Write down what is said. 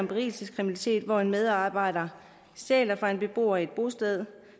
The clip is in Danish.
berigelseskriminalitet hvor en medarbejder stjæler fra en beboer på et bosted